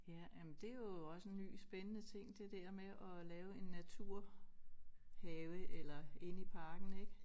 Ja jamen det jo også en ny spændende ting det der med at lave en naturhave eller inde i parken ik